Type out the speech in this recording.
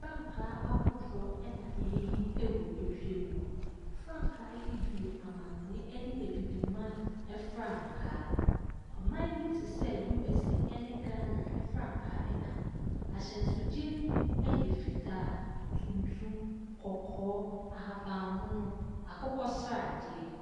Frankaa ahodoɔ na ɛrehim wɔ wiem no. frankaa yi bi yɛ amanɔne ne Abibiman frankaa. Ɔman bi te sɛ USA ne Ghana franka ka ho. Ahyɛnsodeɛ no bi yɛ fitaa, tuntum, kɔkɔɔ, ahabammono, akokɔsradeɛ.